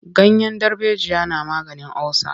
Ganyen darbejiya na maganin olsa.